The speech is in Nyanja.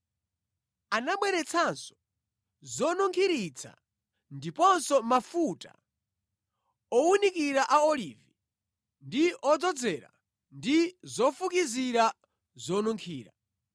Anabweretsanso zonunkhiritsa ndiponso mafuta owunikira a olivi ndi odzozera ndi zofukizira zonunkhira.